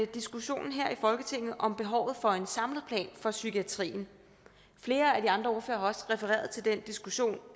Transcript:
diskussionen her i folketinget om behovet for en samlet plan for psykiatrien flere af de andre ordførere har også refereret til den diskussion